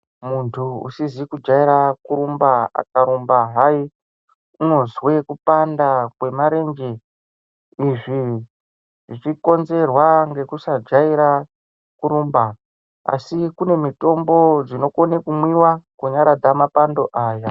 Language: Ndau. Muntu usizi ku jaira kurumba aka rumba hai unozwe kupanda kwe marenje izvi zvichi konzerwa ngekusa jaira kurumba asi kone mutombo dzino kone ku mwiwa ku nyaradza mapando aya.